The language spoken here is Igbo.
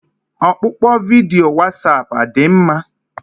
Ọkpụkpọ vidiyo Wasapụ adị mma?